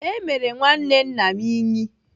Emere nwanne nna m Ínyì.